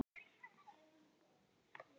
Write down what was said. Svo reynist ekki vera.